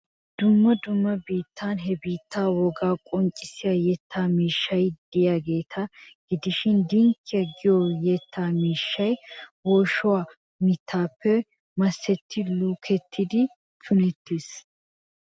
Dumma dumma biittan he biittaa wogaa qonccissiya yetta miishshti de'iyageeta gidishin dinkkiya giyo yetta miishshay woyshshaa mittaappe masetti lukettidi punettees.